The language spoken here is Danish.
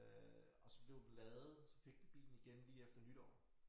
Øh og så blev den lavet så fik vi bilen igen lige efter nytår